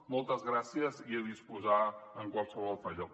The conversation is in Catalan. moltes gràcies i a disposar en qualsevol altre lloc